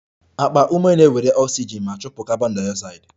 Akpa ume na-ewere oxygen ma chụpụ carbondioxide